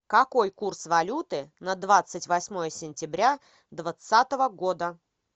какой курс валюты на двадцать восьмое сентября двадцатого года